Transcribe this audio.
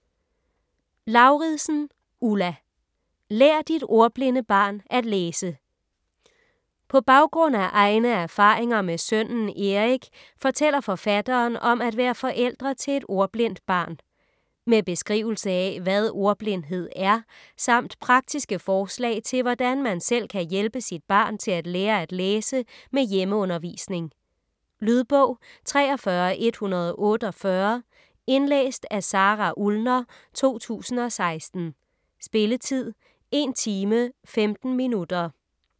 Lauridsen, Ulla: Lær dit ordblinde barn at læse På baggrund af egne erfaringer med sønnen Erik fortæller forfatteren om at være forældre til et ordblindt barn. Med beskrivelse af hvad ordblindhed er, samt praktiske forslag til hvordan man selv kan hjælpe sit barn til at lære at læse med hjemmeundervisning. Lydbog 43148 Indlæst af Sara Ullner, 2016. Spilletid: 1 timer, 15 minutter.